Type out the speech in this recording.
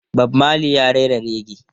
Bob Marley ya rera rege.